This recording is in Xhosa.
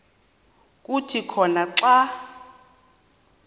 kuthi khona xa